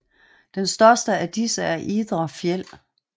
Den største af disse er Idre Fjäll